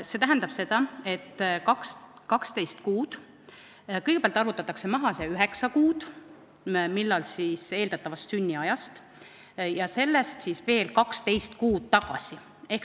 See tähendab, et kõigepealt võetakse maha üheksa kuud eeldatavast sünniajast ja sellest siis veel 12 kuud tagasi.